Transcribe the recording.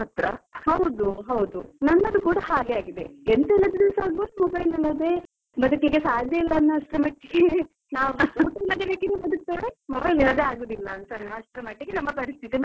ಹೌದು ಹೌದು, ನನ್ನದು ಕೂಡ ಹಾಗೆ ಆಗಿದೆ. ಎಂತ ಇಲ್ಲದಿದ್ರುಸ ಆಬೋದು mobile ಇಲ್ಲದಿದ್ರೆ ಬದ್ಕಲಿಕ್ಕೆ ಸಾಧ್ಯ ಇಲ್ಲ ಅನ್ನೋ ಅಸ್ಟ್ರ ಮಟ್ಟಿಗೆ ನಾವ್ ಊಟ ಇಲ್ಲದೆ ಬೇಕಿದ್ರೆ ಬದ್ಕುತ್ತೇವೆ mobile ಇಲ್ಲದೆ ಆಗುದಿಲ್ಲ ಅಂತ ಅಸ್ಟ್ರ ಮಟ್ಟಿಗೆ ನಮ್ಮ ಪರಿಸ್ಥಿತಿ ಬಂದಿದೆ.